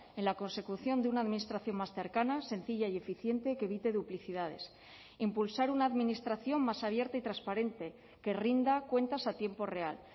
en la consecución de una administración más cercana sencilla y eficiente que evite duplicidades impulsar una administración más abierta y transparente que rinda cuentas a tiempo real